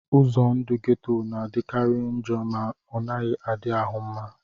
Ụzọ ndụ geto na-adịkarị njọ ma ọ naghị adị ahụ mma